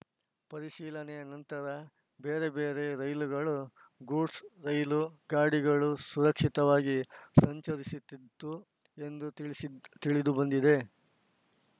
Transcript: ಪರಿಶೀಲನೆಯ ನಂತರ ಬೇರೆ ಬೇರೆ ರೈಲುಗಳು ಗೂಡ್ಸ್‌ ರೈಲು ಗಾಡಿಗಳು ಸುರಕ್ಷಿತವಾಗಿ ಸಂಚರಿಸಿತಿತ್ತು ಎಂದು ತಿಳಿಸಿ ತಿಳಿದುಬಂದಿದೆ